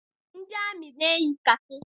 Ndị amị na-eyi kakị.